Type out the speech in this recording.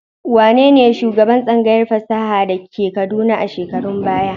Wane ne shugaban tsangayar fasaha da ke Kaduna a shekarun baya?